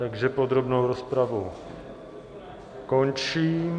Takže podrobnou rozpravu končím.